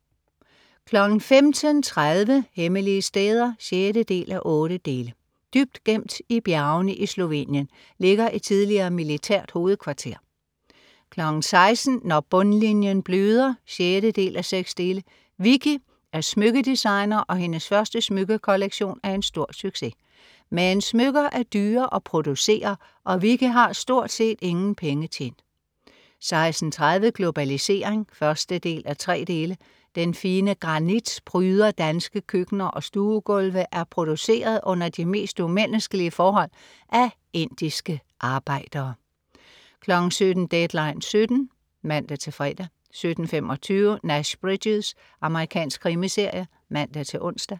15.30 Hemmelige steder 6:8. Dybt gemt i bjergene i Slovenien ligger et tidligere militært hovedkvarter 16.00 Når bundlinjen bløder 6:6. Vicki er smykkedesigner og hendes første smykkekollektion er en stor succes. Men smykker er dyre at producere, og Vicki har stort set ingen penge tjent 16.30 Globalisering 1:3. Den fine granit pryder danske køkkener og stuegulve er produceret under de mest umenneskelige forhold af indiske arbejdere 17.00 Deadline 17.00 (man-fre) 17.25 Nash Bridges. Amerikansk krimiserie (man-ons)